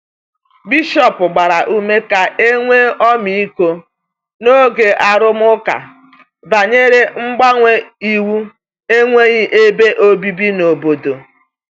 Bishọp gbara ume ka e nwee ọmịiko n’oge arụmụka banyere mgbanwe iwu enweghị ebe obibi n’obodo.